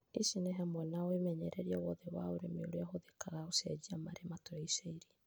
Ici nĩ hamwe na wĩmenyereria wothe wa ũrĩmi ũrĩa ũhũthĩkaga gũcenjia maria matũrigicĩirie